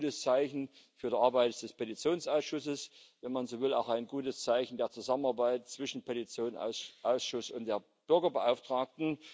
Also auch ein gutes Zeichen für die Arbeit des Petitionsausschusses, wenn man so will, auch ein gutes Zeichen der Zusammenarbeit zwischen Petitionsausschuss und der Bürgerbeauftragten.